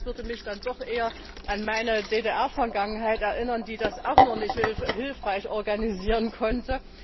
Das würde mich dann doch eher an meine DDR Vergangenheit erinnern, die das auch nicht hilfreich organisieren konnte.